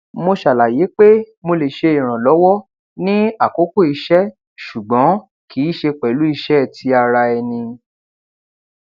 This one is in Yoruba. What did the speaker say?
mo ṣàlàyé pé mo lè ṣe ìrànlọwọ ní àkókò iṣẹ ṣùgbọn kì í ṣe pẹlú iṣé ti ara ẹni